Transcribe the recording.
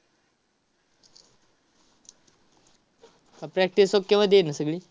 अह practice okay मध्ये आहे ना सगळी?